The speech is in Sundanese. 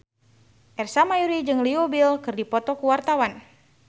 Ersa Mayori jeung Leo Bill keur dipoto ku wartawan